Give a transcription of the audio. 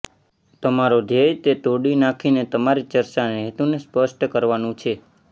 તમારો ધ્યેય તે તોડી નાખીને તમારી ચર્ચાના હેતુને સ્પષ્ટ કરવાનું છે